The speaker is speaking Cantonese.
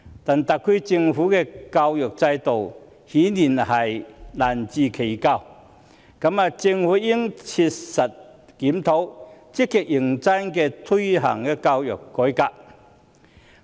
但特區的教育制度顯然難辭其咎，政府應切實檢討，積極認真推行教育改革。